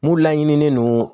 Mun laɲininen don